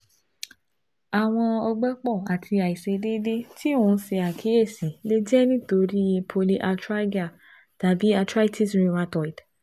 Awọn ọgbẹ́pọ̀ àti àìṣedéédé tí o n ṣe àkíyèsí lè jẹ́ nítorí i polyarthralgia tàbí arthritis rheumatoid